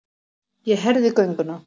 Ég herði gönguna.